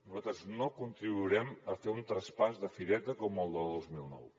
nosaltres no contribuirem a fer un traspàs de fireta com el del dos mil nou